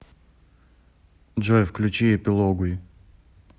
джой включи эпилогуи